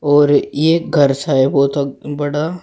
और ये घर सा है बहोत अ बड़ा।